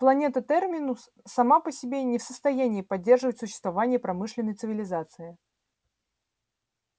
планета терминус сама по себе не в состоянии поддерживать существование промышленной цивилизации